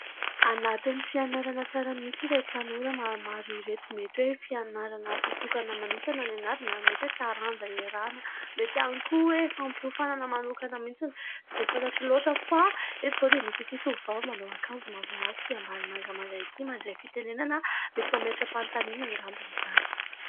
Anatin'ny fianarana tsara mihitsy ireto tanora maromaro ireto. Mety hoe fianarana voatokana manokana no ianarana, mety hoe taranja iarahana, mety ihany koa hoe fampiofanana manokana mihitsy. Tsy dia fantatro loatra fa eto izao dia misy ity tovovavy manao akanjo mavomavo sy ambany mangamanga ity mandray fitenenana, mety mametra-panontaniana angamba izy izany.